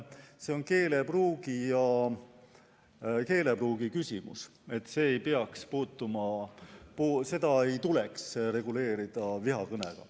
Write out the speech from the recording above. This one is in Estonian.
See on keelepruugi küsimus, seda ei tuleks reguleerida vihakõnega.